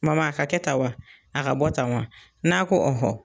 Mama a ka kɛ tan wa? A ka bɔ tan wa ? N'a ko